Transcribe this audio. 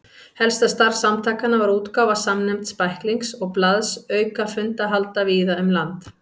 Helsta starf samtakanna var útgáfa samnefnds bæklings og blaðs auka fundahalda víða um land.